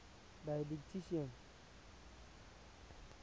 didactician